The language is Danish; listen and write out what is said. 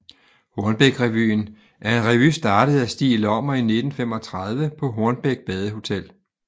Hornbækrevyen er en revy startet af Stig Lommer i 1935 på Hornbæk Badehotel